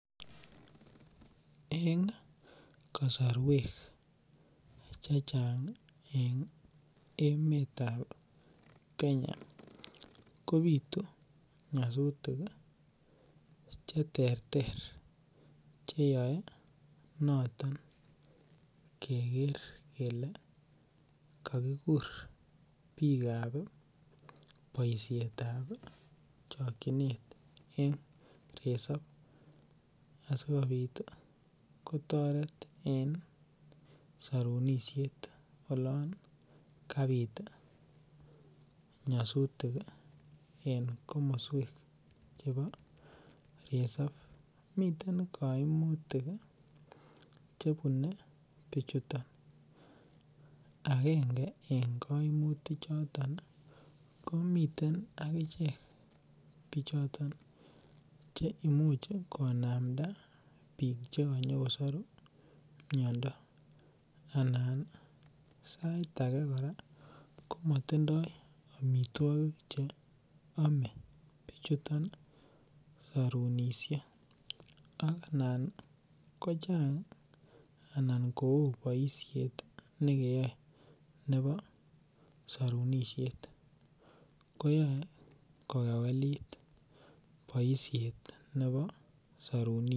Eng' kasorwek chechang' eng' emetab Kenya kobitu nyasutik cheterter cheyoei noton keker kele kakikur biikab boishetab chokchinet eng' risop asikobit kotoret eng' sorunishet olon kabit nyosutik eng' komoswek chebo risop miten kaimutik chebunei bichuto agenge eng' kaimutik choto komiten akichek bichoton che imuch konamda biik chekanyikosoru miyondo anan sait ake kora komatindoi omitwokik cheomei bichuto en karonishek anan kochang' anan ko oo boishet noto nekeyoe nebo sorunishet koyoe kokewelit boishet nebo sarunik